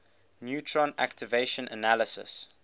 neutron activation analysis